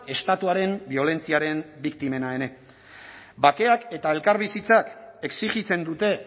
estatuaren biolentziaren biktimena ere bakeak eta elkarbizitzak exijitzen dute